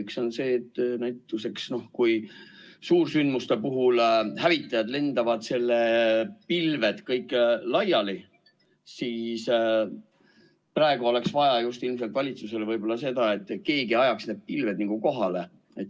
Üks on see, et kui näiteks suursündmuste puhul hävitajad ajavad lennates pilved kõik laiali, siis praegu oleks valitsusele võib-olla vaja seda, et keegi ajaks pilved kokku.